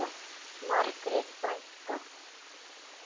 Margrét frænka.